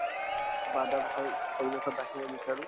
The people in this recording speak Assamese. বা এটা ভাল পৰিৱেশত ৰাখিব বিচাৰো